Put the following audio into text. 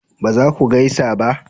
ba za ku gaisa ba